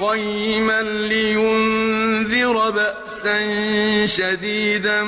قَيِّمًا لِّيُنذِرَ بَأْسًا شَدِيدًا